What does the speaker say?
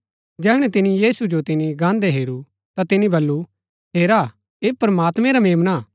जैहणै तिनी यीशु जो तिन्ची गान्दै हेरू ता तिनी बल्लू हेरा ऐह प्रमात्मैं रा मेम्ना हा